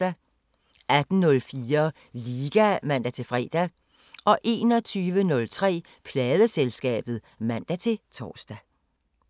18:04: Liga (man-fre) 21:03: Pladeselskabet (man-tor)